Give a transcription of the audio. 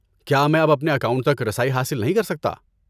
کیا میں اب اپنے اکاؤنٹ تک رسائی حاصل نہیں کر سکتا؟